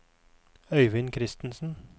Øivind Christensen